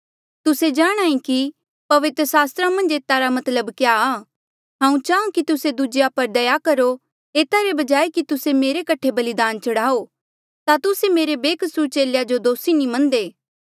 तुस्से जाणहां ऐें कि पवित्र सास्त्रा मन्झ एता रा मतलब क्या आ हांऊँ चाहां कि तुस्से दूजेया पर दया करो एता रे बजाय कि तुस्से मेरे कठे बलिदान चढ़ाओ जे तुस्से मेरे बेकसूर चेलेया जो दोसी नी मन्नदे